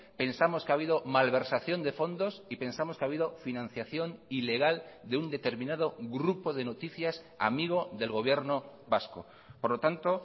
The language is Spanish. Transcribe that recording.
pensamos que ha habido malversación de fondos y pensamos que ha habido financiación ilegal de un determinado grupo de noticias amigo del gobierno vasco por lo tanto